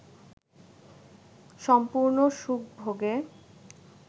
সম্পূর্ণ সুখভোগে